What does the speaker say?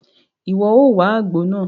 Iwọ o wá àgbo náà!